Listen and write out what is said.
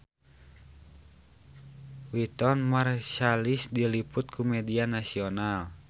Wynton Marsalis diliput ku media nasional